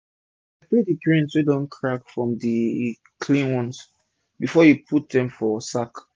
separate d grains wey don crack from d clean ones before u put dem for sack